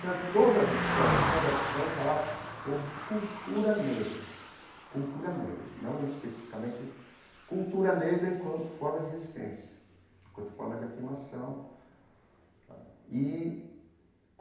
Então todas as escolas de samba vão falar sobre cultura negra, cultura negra, não especificamente cultura negra enquanto forma de resistência, enquanto forma de afirmação tá e.